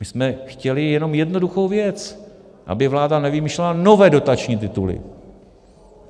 My jsme chtěli jenom jednoduchou věc, aby vláda nevymýšlela nové dotační tituly.